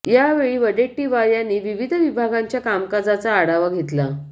यावेळी वडेट्टीवार यांनी विविध विभागांच्या कामकाजाचा आढावा घेतला